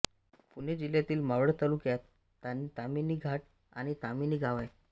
पुणे जिल्ह्यातील मावळ तालुक्यात ताम्हिणी घाट आणि ताम्हिणी गाव आहे